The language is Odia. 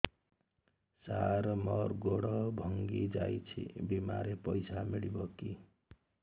ସାର ମର ଗୋଡ ଭଙ୍ଗି ଯାଇ ଛି ବିମାରେ ପଇସା ମିଳିବ କି